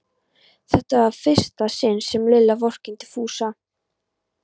Þetta var í fyrsta sinn sem Lilla vorkenndi Fúsa.